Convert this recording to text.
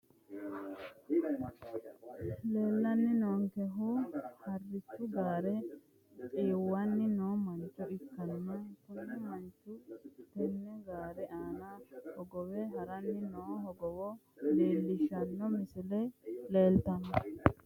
Leellanni noonkehu hartichu gaare xiwanni no mancho ikkanna kuni manchuno tenne gaare aana hogowe haranni noo hogowo leellishshanno misile leeltanno.